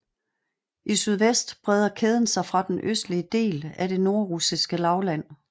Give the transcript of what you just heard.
I sydvest breder kæden sig fra den østlige del af det nordrussiske lavland